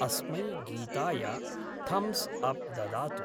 अस्मै गीताय thumbs up ददातु।